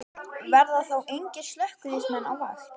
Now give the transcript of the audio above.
Verða þá engir slökkviliðsmenn á vakt?